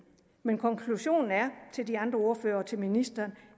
men konklusionen til de andre ordførere og til ministeren